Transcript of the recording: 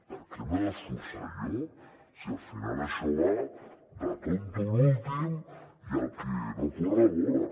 per què m’he d’esforçar jo si al final això va de tonto l’últim i de qui no corre vola